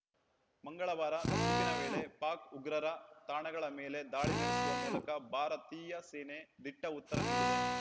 ಮಂಗಳವಾರ ನಸುಕಿನ ವೇಳೆ ಪಾಕ್‌ ಉಗ್ರರ ತಾಣಗಳ ಮೇಲೆ ದಾಳಿ ನಡೆಸುವ ಮೂಲಕ ಭಾರತೀಯ ಸೇನೆ ದಿಟ್ಟಉತ್ತರ ನೀಡಿದೆ